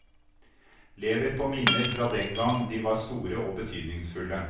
Lever på minner fra den gang de var store og betydningsfulle.